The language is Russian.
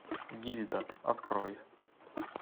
гильда открой